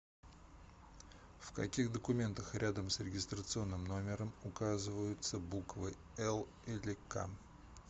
в каких документах рядом с регистрационным номером указываются буквы л или к